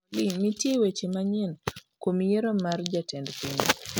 Olly nitie wach manyien kuom yiero mar jatend piny